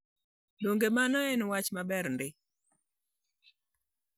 Donge mano en wach maber ndi?